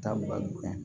Taa bal